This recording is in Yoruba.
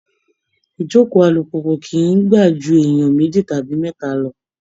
Ijókòó alùpùpù kìí gbà ju èèyàn méjì tàbí mẹ́ta lọ